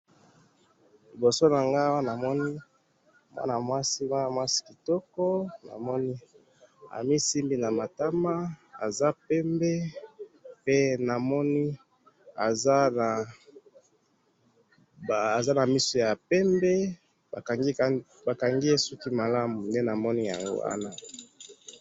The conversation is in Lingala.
Liboso na ngai awa namoni mwana mwasi, mwana mwasi kitoko. Namoni amisimbi na matama, aza pembe, pe namoni aza na misu ya pembe. Bakangi ye suki malamu. Nde namoni yango awa